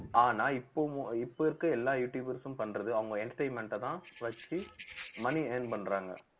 ஆனா இப்போவும் இப்போ இருக்க எல்லா யூடுயூப்ர்ஸும் பண்றது அவுங்க entertainment அ தான் வச்சு money earn பண்றாங்க